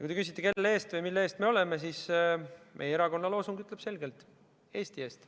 Kui te küsite, kelle või mille eest me seisame, siis vastan, et meie erakonna loosung ütleb selgelt: Eesti eest.